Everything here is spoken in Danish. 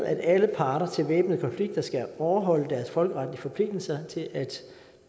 at alle parter i væbnede konflikter skal overholde deres folkeretlige forpligtelser til at